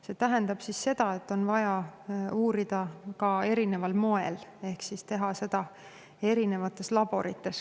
See tähendab, et on vaja ka uurida erineval moel ehk teha seda erinevates laborites.